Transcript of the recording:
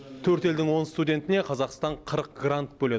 төрт елдің он студентіне қазақстан қырық грант бөледі